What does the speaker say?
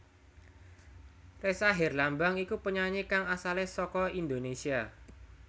Ressa Herlambang iku penyanyi kang asalé saka Indonesia